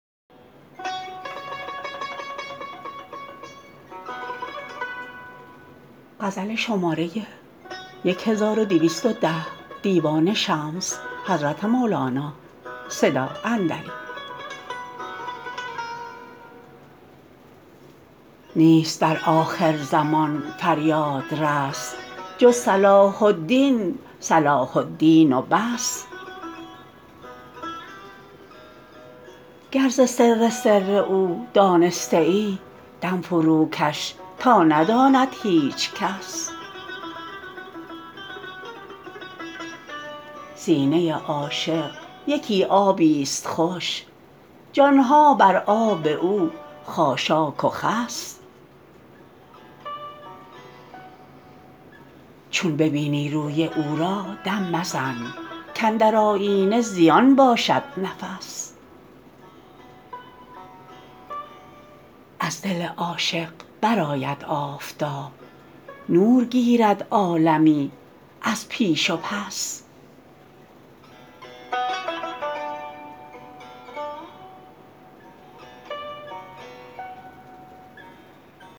نیست در آخرزمان فریادرس جز صلاح الدین صلاح الدین و بس گر ز سر سر او دانسته ای دم فروکش تا نداند هیچ کس سینه عاشق یکی آبیست خوش جان ها بر آب او خاشاک و خس چون ببینی روی او را دم مزن کاندر آیینه زیان باشد نفس از دل عاشق برآید آفتاب نور گیرد عالمی از پیش و پس